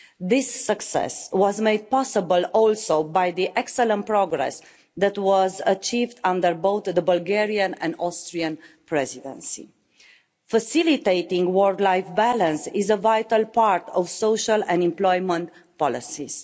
This success was made possible also by the excellent progress that was achieved under both the Bulgarian and Austrian Presidencies. Facilitating work-life balance is a vital part of social and employment policies.